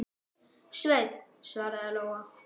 Sveinn, svaraði Lóa.